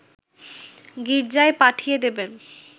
গির্জায় পাঠিয়ে দেবেন